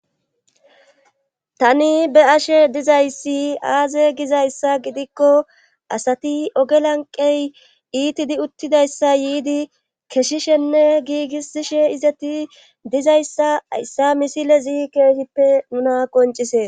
tani be ashe dizayssi aaze gizayssa gidikko asati ogelanqey iitidi uttidayssa yiidi keshishenne giigisishe izeti dizayssa hayssa misilezi keeshippe nuna qoncises